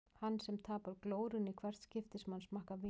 Hann sem tapar glórunni í hvert skipti sem hann smakkar vín.